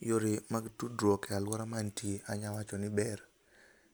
Yore mag tudruok e aluora ma antie anyalo wacho ni ber